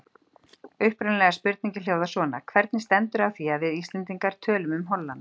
Upprunalega spurningin hljóðar svona: Hvernig stendur á því að við, Íslendingar, tölum um Holland?